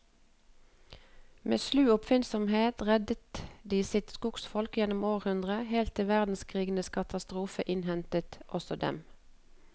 Med slu oppfinnsomhet redder de sitt skogsfolk gjennom århundrene, helt til verdenskrigens katastrofe innhenter også dem.